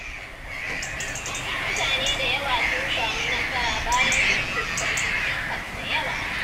Mutane da yawa sun samu nasara bayan sun fuskanci cikas da yawa.